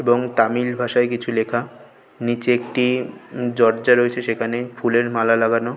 এবং তামিল ভাষায় কিছু লেখা নিচে একটি দরজা রয়েছে সেখানে ফুলের মালা লাগানো।